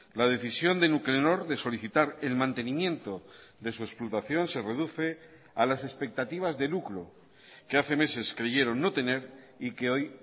la decisión de nuclenor de solicitar el mantenimiento de su explotación se reduce a las expectativas de lucro que hace meses creyeron no tener y que hoy